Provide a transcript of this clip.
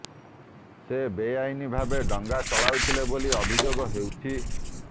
ସେ ବେଆଇନ୍ ଭାବେ ଡଙ୍ଗା ଚଲାଉଥିଲେ ବୋଲି ଅଭିଯୋଗ ହୋଇଛି